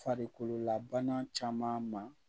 Farikololabana caman ma